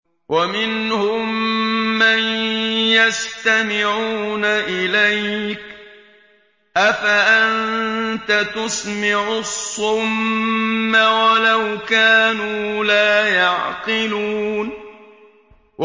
وَمِنْهُم مَّن يَسْتَمِعُونَ إِلَيْكَ ۚ أَفَأَنتَ تُسْمِعُ الصُّمَّ وَلَوْ كَانُوا لَا يَعْقِلُونَ